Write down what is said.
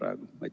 Aitäh!